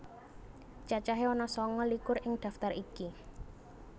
Cacahé ana sanga likur ing daftar iki